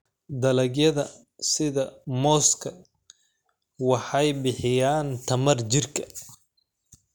Dalagyada sida mooska waxay bixiyaan tamar jirka.